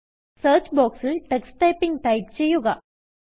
search ബോക്സിൽ Tux Typingടൈപ്പ് ചെയ്യുക